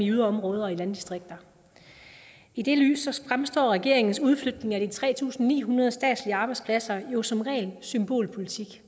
yderområder og landdistrikter i det lys fremstår regeringens udflytning af de tre tusind ni hundrede statslige arbejdspladser jo som ren symbolpolitik